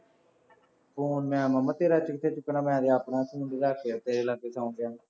phone ਮੈਂ ਮਾਮਾ ਤੇਰਾ ਇੱਥੇ ਕਿੱਥੇ ਚੁੱਕਣਾ, ਮੈਂ ਤਾਂ ਆਪਣਾ ਫੋਨ ਰੱਖ ਕੇ ਤੇਰੇ ਲਾਗੇ ਸੌਂ ਗਿਆ ਸੀ